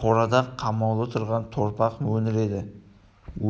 қорада қамаулы тұрған торпақ мөңіреді